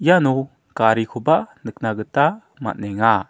iano garikoba nikna gita man·enga.